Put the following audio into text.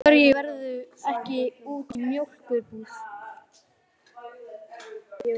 Af hverju ferðu ekki út í mjólkur- búð?